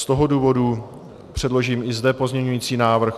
Z toho důvodu předložím i zde pozměňovací návrh.